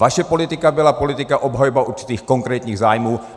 Vaše politika byla politika obhajoby určitých konkrétních zájmů.